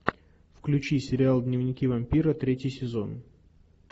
включи сериал дневники вампира третий сезон